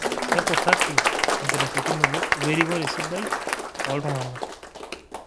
Kekurraki ekitashekinito o erikore sidai oo ltung'ana